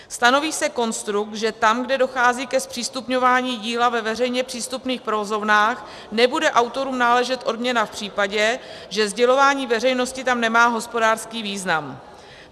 Stanoví se konstrukt, že tam, kde dochází ke zpřístupňování díla ve veřejně přístupných provozovnách, nebude autorům náležet odměna v případě, že sdělování veřejnosti tam nemá hospodářský význam.